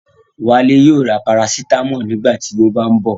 Wálé yóò ra Parasítámọ̀ nígbà tí ó bá ń bọ̀